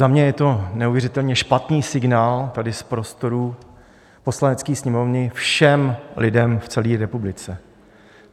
Za mě je to neuvěřitelně špatný signál tady z prostorů Poslanecké sněmovny všem lidem v celé republice.